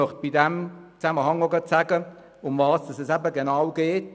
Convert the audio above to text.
In diesem Zusammenhang möchte ich nochmals erläutern, um was es genau geht.